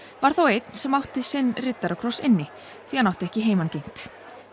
var þó einn sem átti sinn riddarakross inni því hann átti ekki heimangengt